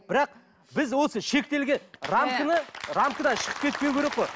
бірақ біз осы шектелген рамкадан шығып кетпеу керек қой